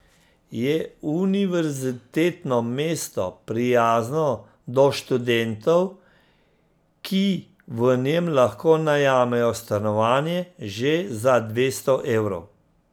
Je univerzitetno mesto, prijazno do študentov, ki v njem lahko najamejo stanovanje že za dvesto evrov.